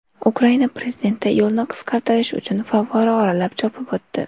Ukraina prezidenti yo‘lni qisqartirish uchun favvora oralab chopib o‘tdi .